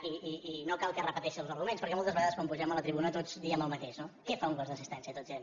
i no cal que repeteixi els arguments perquè moltes vegades quan pugem a la tribuna tots diem el mateix no què fa un gos d’assistència tots diem